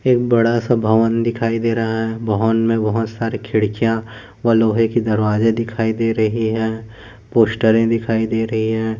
एक बड़ा सा भवन दिखाई दे रहा है भवन में बहुत सारे खिड़कियाँ व लोहे की दरवाज़े दिखाई दे रही है पोस्टरे दिखाई दे रही है।